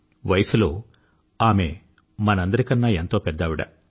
వయసులో ఆవిడ మనందరి కన్నా ఎంతో పెద్దావిడ